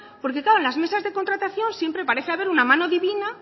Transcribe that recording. porque claro en las mesas de contratación siempre parece haber una mano divina